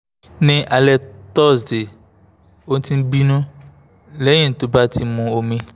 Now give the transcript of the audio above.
ní alẹ́ thursday ó ti ń bínú lẹ́yìn tó bá ti mu omi